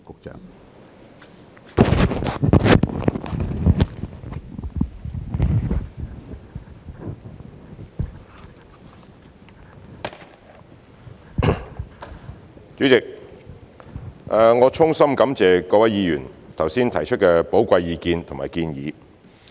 主席，我衷心感謝各位議員剛才提出寶貴的意見和建議。